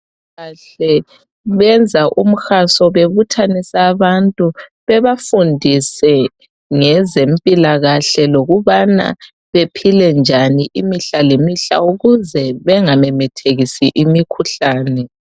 Abezempilakahle benza umhaso bebuthanise abantu bebafundisa ngezempilakahle lokuthi baphile njani bengamemethekisi imikhuhlane.